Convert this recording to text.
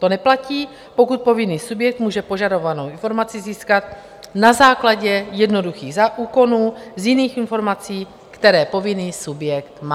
To neplatí, pokud povinný subjekt může požadovanou informaci získat na základě jednoduchých úkonů z jiných informací, které povinný subjekt má.